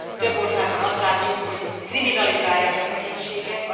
Több országban azt látjuk, hogy kriminalizálják a szegénységet.